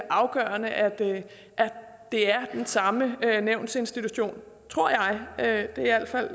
afgørende at det er den samme nævnsinstitution tror jeg er i al fald